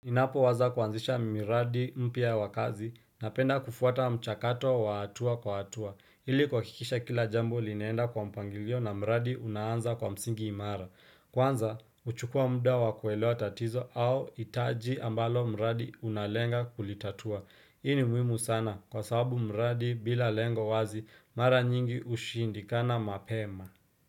Ninapo waza kuanzisha miradi mpya wa kazi napenda kufuata mchakato wa hatua kwa hatua. Hili kuhakikisha kila jambo linaenda kwa mpangilio na mradi unaanza kwa msingi imara. Kwanza, uchukua muda wakuelewa tatizo au hitaji ambalo mradi unalenga kulitatua. Hii ni muhimu sana kwa sababu mradi bila lengo wazi, mara nyingi ushindikana mapema.